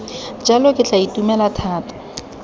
jalo ke tla itumela thata